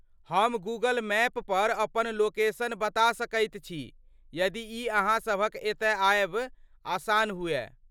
हम Google map पर अपन लोकेशन बता सकैत छी यदि ई अहाँ सभक एतय आयब आसान हुअय।